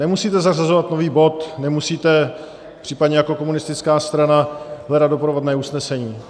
Nemusíte zařazovat nový bod, nemusíte případně jako komunistická strana hledat doprovodné usnesení.